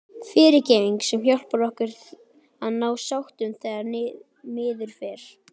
FYRIRGEFNING- sem hjálpar okkur að ná sáttum þegar miður fer.